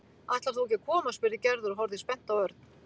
Ætlar þú ekki að koma? spurði Gerður og horfði spennt á Örn.